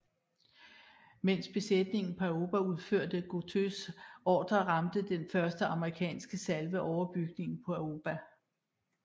Mens besætningen på Aoba udførte Gotōs ordre ramte den første amerikanske salve overbygningen på Aoba